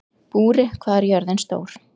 Búri, hvað er jörðin stór?